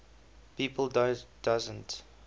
people doesn t